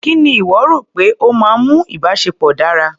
Kí ni ìwọ rò pé ó máa ń mú ìbáṣepọ̀ dára?